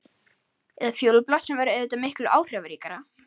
Eða fjólublátt sem væri auðvitað miklu áhrifaríkara.